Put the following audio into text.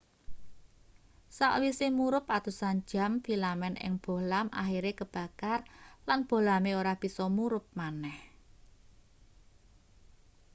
sakwise murup atusan jam filamen ing bohlam akhire kebakar lan bohlame ora bisa murup maneh